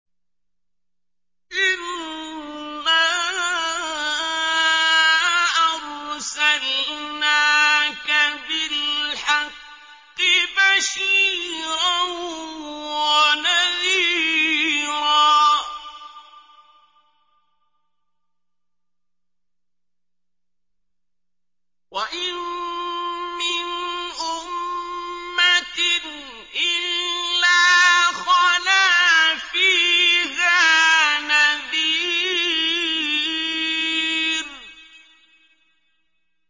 إِنَّا أَرْسَلْنَاكَ بِالْحَقِّ بَشِيرًا وَنَذِيرًا ۚ وَإِن مِّنْ أُمَّةٍ إِلَّا خَلَا فِيهَا نَذِيرٌ